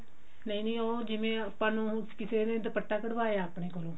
ਨਹੀ ਨਹੀ ਉਹ ਜਿਵੇਂ ਆਪਾਂ ਨੂੰ ਕਿਸੇ ਨੇ ਦੁੱਪਟਾ ਕਢਵਾਇਆ ਆਪਣੇ ਕੋਲੋਂ